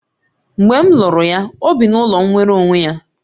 Mgbe m lụrụ ya, o bi n'ụlọ nwere onwe ya